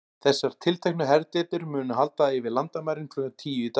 Þessar tilteknu herdeildir munu halda yfir landamærin klukkan tíu í dag.